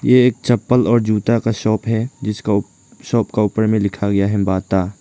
ये एक चप्पल और जूता का शॉप है जिसका शॉप का ऊपर में लिखा गया है बाटा ।